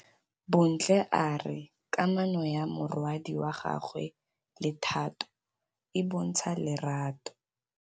Bontle a re kamanô ya morwadi wa gagwe le Thato e bontsha lerato.